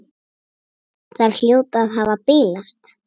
Þær hljóta að hafa bilast!